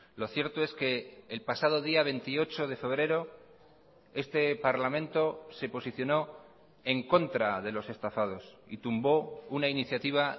lo cierto es que el pasado día veintiocho de febrero este parlamento se posicionó en contra de los estafados y tumbó una iniciativa